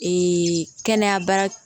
kɛnɛya baara